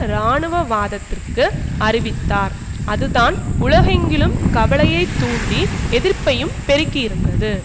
இராணுவவாதத்திற்கு அறிவித்தார் அதுதான் உலகெங்கிலும் கவலையை தூண்டி எதிர்ப்பையும் பெருக்கியிருந்தது